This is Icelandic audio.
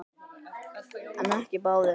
En ekki báðir.